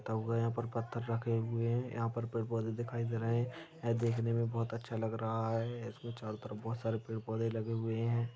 पत्थर रखे हुए है यहाँ पर पेड़-पौधे दिखाई दे रहे है ऐ देखने मे बहुत अच्छा लग रहा है इसके चारों तरफ बहुत सारे पैड-पोधे लगे हुए है।